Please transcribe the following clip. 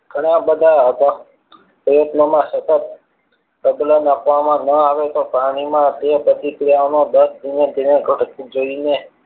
ઘણા બધા પ્રયત્નોમાં સફળ પ્રબલન આપવા માં ના આવે તો પ્રાણી માં તે પ્રતિક્રિયા ઓ માં દર ધીમે ધીમે ઘટતું જઈને